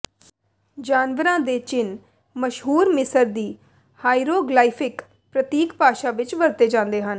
ਜਾਨਵਰਾਂ ਦੇ ਚਿੰਨ੍ਹ ਮਸ਼ਹੂਰ ਮਿਸਰ ਦੀ ਹਾਇਰੋਗਲਾਈਫਿਕ ਪ੍ਰਤੀਕ ਭਾਸ਼ਾ ਵਿਚ ਵਰਤੇ ਜਾਂਦੇ ਹਨ